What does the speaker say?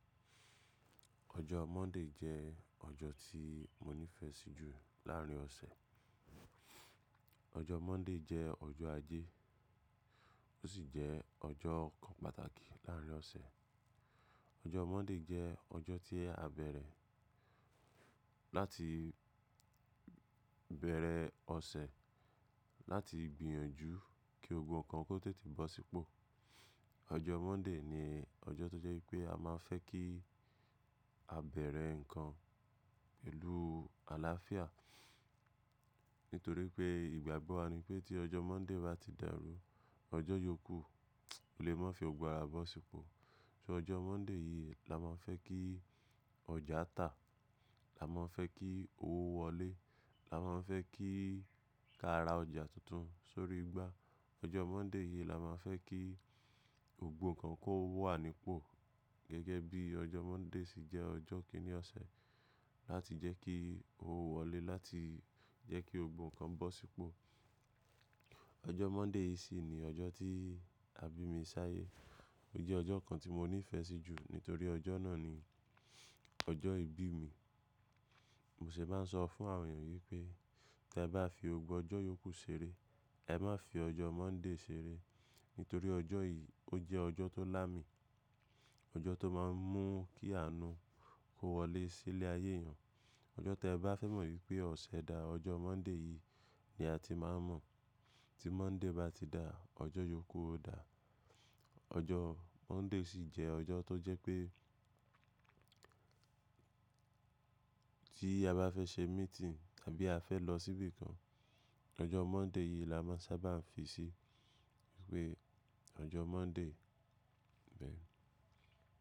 Ọjọ́ Monday jẹ́ ọjọ́ tí mo nífẹ̀ẹ́ sí jù láàárin ọ̀sẹ̀. Ọjọ́ Monday jẹ́ ọjọ́ ajé, ó sì jẹ ọjọ́ kan pàtàkì láàrin ọ̀sẹ̀. Ọjọ́ Monday jẹ́ ọjọ́ tí a bẹ̀rẹ̀ láti bẹ̀rẹ̀ ọ̀sẹ̀ láti gbìyànjú kí gbogbó nkan kó tètè bọ́ sípò. Ọjọ́ Monday ni ọjọ́ tó jẹ́ pé a máa fẹ́ kí a bẹ̀rẹ̀ nǹkan pẹ̀lú àlàáfíà. Nítorí pé ìgbàgbọ́ wa ni pé tí ọjọ́ Monday bá ti dàrú, ọjọ́ yókù ò lè má fi gbogbo ara bọ́ sípò. So ọjọ́ Monday yìí la máa fẹ́ kí ọjà tà, la máa fẹ́ kí owó wọlé, la máa fẹ́ kí ka ra ọjà tuntun sórí igbá. Ọjọ́ Monday yìí la máa fẹ́ kí gbogbo nkan kó wà nípò. Gẹ́gẹ́ bí ọjọ́ Monday sì jẹ́ ọjọ́ kìnní ọ̀sẹ̀ láti jẹ́ kí owó wọlé, láti jẹ́ kí gbógbo kan bọ́ sípò. Ọjọ́ Monday yìí sì ni ọjọ́ tí àbí mi ṣáyé. Ó jẹ́ ọjọ́ kan tí mo nífẹ̀ẹ́ sí jù nítorí ọjọ́ náà ni ọjọ́ ìbí mi. Mo sì máa ń sọ fún àwọn ènìyàn wípé tí ẹ bá fi gbogbó ọjọ́ yókù ṣeré, ẹ má fi ọjọ́ Monday ṣeré. Nítorí ọjọ́ yìí ó jẹ́ ọjọ́ tó là mi, ọjọ́ tó máa ń mú kí àánú kó wọlé sí ilé ayé èèyàn. Ọjọ́ tí ẹ bá fẹ́ mọ̀ wípé ọ̀sẹ̀ dà, ọjọ́ Monday yìí ni a ti máa mọ̀. Tí Monday bá ti dà, ọjọ́ yókù ó dà. Ọjọ́ Monday sì jẹ́ ọjọ́ tó jẹ́ pé tí a bá fẹ́ ṣe meeting tàbí a fẹ́ lọ síbi kan, ọjọ́ Monday yìí la máa sábà fi sí wípé ọjọ́ Monday.